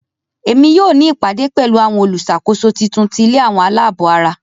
Emi yoo ni ìpàdé pẹ̀lu àwon olúṣàkóso titun ti ilé àwọn aláàbò ara.